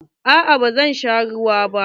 Aa ba zan sha ruwa ba.